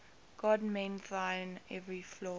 god mend thine every flaw